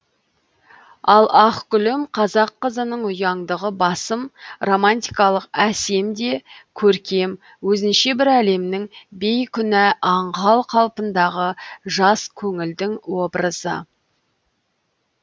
ал ақ гүлім қазақ қызының ұяңдығы басым романтикалық әсем де көркем өзінше бір әлемнің бейкүнә аңғал қалпындағы жас көңілдің образы